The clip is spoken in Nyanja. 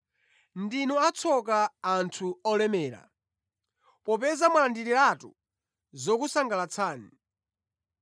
“Ndinu atsoka, anthu olemera, popeza mwalandiriratu zokusangalatsani.